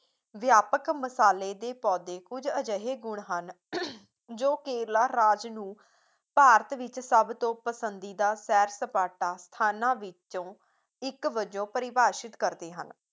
ਵਿਆਪਕ ਮਸਾਲੇ ਦੇ ਪੌਧੇ ਕੁਝ ਅਜਿਹੇ ਗੁਣ ਹਨ ਜੋ ਕੇਰਲਾ ਰਾਜ ਨੂੰ ਭਾਰਤ ਵਿੱਚ ਸਭ ਤੋਂ ਪਸੰਦੀਦਾ ਸੈਰ ਸਪਾਟਾ ਸਥਾਨਾਂ ਵਿੱਚੋਂ ਇੱਕ ਵਜੋਂ ਪਰਿਭਾਸ਼ਿਤ ਕਰਦੇ ਹਨ